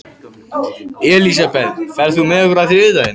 Elisabeth, ferð þú með okkur á þriðjudaginn?